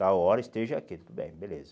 Tal hora esteja aqui, tudo bem, beleza.